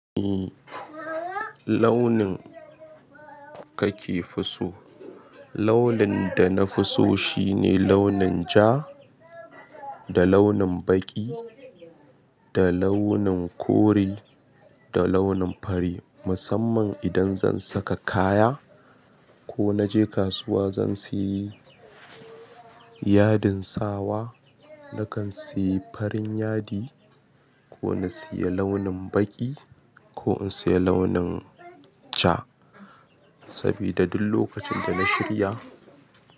Eh, launin kake fi so? Launin da na fi so shine launin ja, da launin baƙi, da launin kore, da launin fari. Musamman idan zan saka kaya ko na je kasuwa zan sayi yadin sawa, nakan sayi fari yadi ko na siya launin baƙi ko in siya launin ja. Sabida duk lokacin da na shirya.